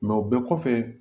o bɛɛ kɔfɛ